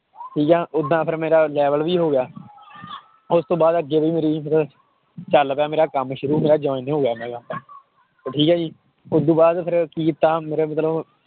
ਠੀਕ ਹੈ ਏਦਾਂ ਫਿਰ ਮੇਰਾ level ਵੀ ਹੋ ਗਿਆ ਉਸ ਤੋਂ ਬਾਅਦ ਅੱਗੇ ਵੀ ਮੇਰੀ ਫਿਰ ਚੱਲ ਪਿਆ ਮੇਰਾ ਕੰਮ ਸ਼ੁਰੂ ਹੋ ਗਿਆ ਠੀਕ ਹੈ ਜੀ ਉਹ ਤੋਂ ਬਾਅਦ ਫਿਰ ਕੀ ਕੀਤਾ ਮੇਰੇ ਅੰਦਰੋਂ